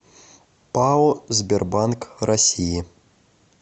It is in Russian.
пао сбербанк россии